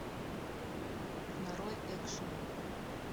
нарой экшн